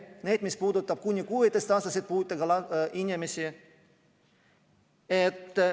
Need, mis puudutavad kuni 16‑aastaseid puudega inimesi.